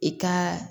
I ka